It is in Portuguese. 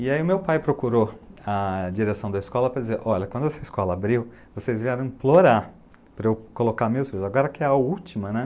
E aí o meu pai procurou a direção da escola para dizer, olha, quando essa escola abriu, vocês vieram implorar para eu colocar meus filhos, agora que é a última, né?